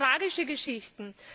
Das sind tragische Geschichten!